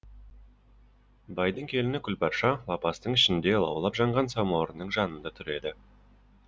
байдың келіні күлбарша лапастың ішінде лаулап жанған самауырынның жанында тұр еді